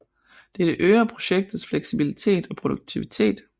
Dette øger projektets fleksibilitet og produktivitet